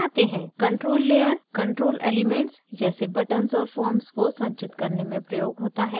control layer controls elements जैसे buttons और forms को संचित करने में प्रयोग होता है